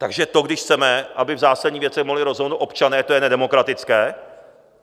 Takže to, když chceme, aby v zásadních věcech mohli rozhodnout občané, to je nedemokratické?